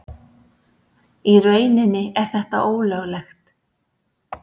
Í rauninni er þetta ólöglegt.